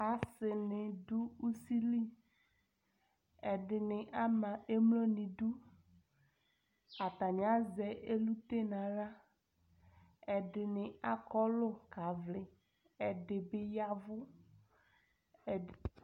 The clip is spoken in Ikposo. Asɩnɩ dʊ ʊsɩlɩ ɛdɩnɩ ama emlo nʊ ɩdʊ atanɩ azɛ elʊte nʊ axla ɛdɩnɩ akɔlʊ ka vlɩ ɛdɩbɩ yavʊ